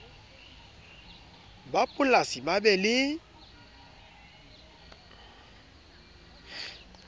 ba polasi ba be le